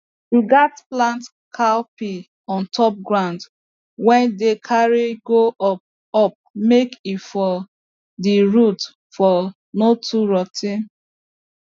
you gats plant cowpea on top ground wey dey carry go up up make e for the root for no too rot ten